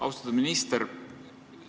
Austatud minister!